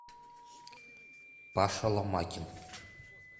паша ломакин